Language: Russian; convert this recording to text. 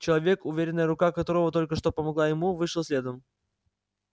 человек уверенная рука которого только что помогла ему вышел следом